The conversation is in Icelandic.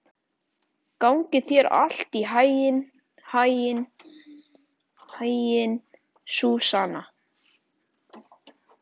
Gangi þér allt í haginn, Súsanna.